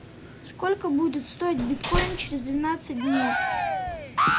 сколько будет стоить биткоин через двенадцать дней